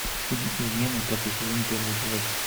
фильм измены пятый сезон первый эпизод